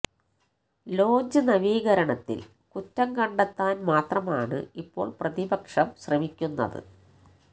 launch നവീകരണത്തില് കുറ്റം കണ്ടെത്താന് മാത്രമാണ് ഇപ്പോള് പ്രതിപക്ഷം ശ്രമിക്കുന്നത്